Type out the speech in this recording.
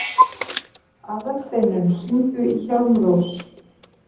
Aðalsteinunn, hringdu í Hjálmrós.